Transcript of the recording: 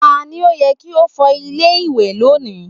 Ta ni ó yẹ kí ó fọ ilé ìwẹ̀ lónìí?